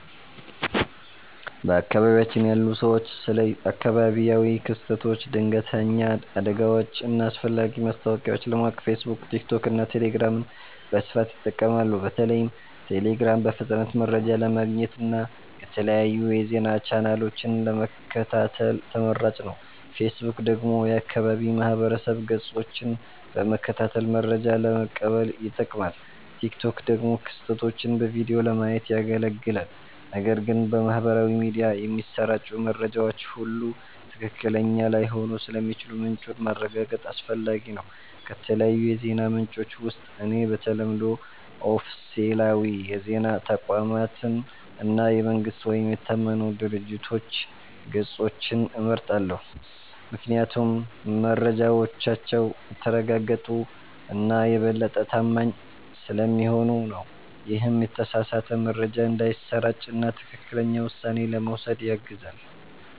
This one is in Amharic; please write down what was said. በአካባቢያችን ያሉ ሰዎች ስለ አካባቢያዊ ክስተቶች፣ ድንገተኛ አደጋዎች እና አስፈላጊ ማስታወቂያዎች ለማወቅ ፌስቡክ፣ ቲክቶክ እና ቴሌግራምን በስፋት ይጠቀማሉ። በተለይም ቴሌግራም በፍጥነት መረጃ ለማግኘት እና የተለያዩ የዜና ቻናሎችን ለመከታተል ተመራጭ ነው። ፌስቡክ ደግሞ የአካባቢ ማህበረሰብ ገጾችን በመከታተል መረጃ ለመቀበል ይጠቅማል፣ ቲክቶክ ደግሞ ክስተቶችን በቪዲዮ ለማየት ያገለግላል። ነገር ግን በማህበራዊ ሚዲያ የሚሰራጩ መረጃዎች ሁሉ ትክክለኛ ላይሆኑ ስለሚችሉ ምንጩን ማረጋገጥ አስፈላጊ ነው። ከተለያዩ የዜና ምንጮች ውስጥ እኔ በተለምዶ ኦፊሴላዊ የዜና ተቋማትን እና የመንግስት ወይም የታመኑ ድርጅቶች ገጾችን እመርጣለሁ፤ ምክንያቱም መረጃዎቻቸው የተረጋገጡ እና የበለጠ ታማኝ ስለሚሆኑ ነው። ይህም የተሳሳተ መረጃ እንዳይሰራጭ እና ትክክለኛ ውሳኔ ለመውሰድ ያግዛል።